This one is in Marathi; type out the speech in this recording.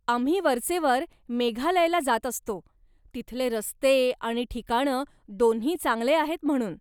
आम्ही वरचेवर मेघालयला जात असतो, तिथले रस्ते आणि ठिकाणं, दोन्ही चांगले आहेत म्हणून.